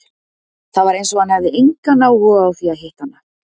Það var eins og hann hefði engan áhuga á því að hitta hana.